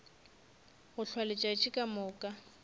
go hlwa letšatši ka moka